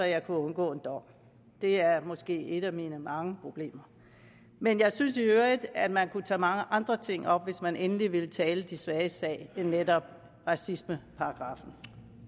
jeg kunne undgå en dom det er måske et af mine mange problemer men jeg synes i øvrigt at man kunne tage mange andre ting op hvis man endelig ville tale de svages sag end netop racismeparagraffen